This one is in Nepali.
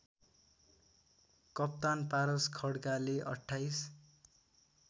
कप्तान पारस खड्काले २८